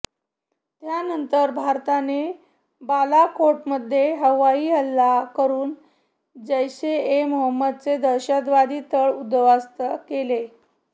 त्यानंतर भारताने बालाकोटमध्ये हवाई हल्ला करून जैश ए मोहम्मदचे दहशतवादी तळ उद्ध्वस्त केले